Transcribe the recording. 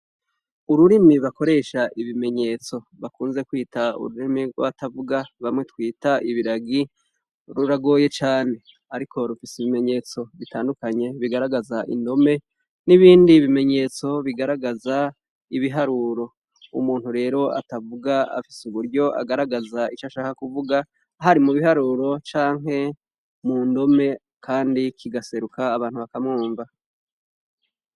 Ururimi bakoresha ibimenyetso bakunze kwita ururimi rwabatavuga bamwe twita ibiragi ruragoye cane ariko rufise ibimenyetso bitandukanye bigaragaza indome nibindi nibindi bimenyetso bigaragaza ibiharuro umuntu rero atavuga afise uburyo atagaragaza ivyo ashaka kuvuga hari mubiharuro canke mundome kandi kigaseruka abantu bakamwumva